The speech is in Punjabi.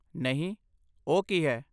ਨਹੀਂ, ਓਹ ਕੀ ਹੈ?